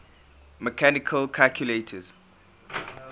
mechanical calculators